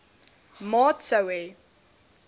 maat sou hê